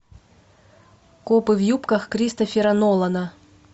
копы в юбках кристофера нолана